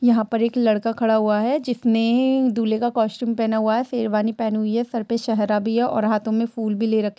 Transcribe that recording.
यहाँ पर एक लड़का खड़ा हुआ है। जिसने दूल्है का कॉस्ट्यूम पहना हुआ है शेरवानी पहनी हुई है सर पर सेहरा भी है और हाथों में फूल भी ले रखें--